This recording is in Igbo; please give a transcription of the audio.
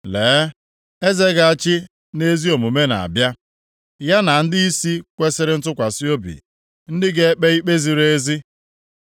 Lee, eze ga-achị nʼezi omume na-abịa, ya na ndịisi kwesiri ntụkwasị obi, ndị ga-ekpe ikpe ziri ezi.